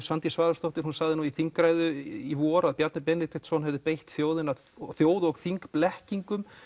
Svandís Svavarsdóttir sagði nú í þingræðu í vor að Bjarni Benediktsson hefði beitt þjóð og þjóð og þing blekkingum